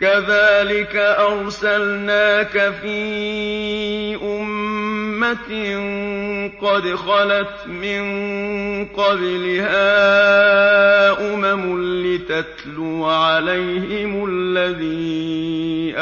كَذَٰلِكَ أَرْسَلْنَاكَ فِي أُمَّةٍ قَدْ خَلَتْ مِن قَبْلِهَا أُمَمٌ لِّتَتْلُوَ عَلَيْهِمُ الَّذِي